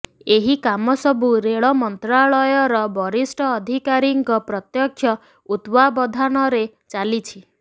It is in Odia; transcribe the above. ଏହି କାମ ସବୁ ରେଳ ମନ୍ତ୍ରଣାଳୟର ବରିଷ୍ଠ ଅଧିକାରୀଙ୍କ ପ୍ରତ୍ୟକ୍ଷ ତତ୍ତ୍ବାବଧାନରେ ଚାଲିଛି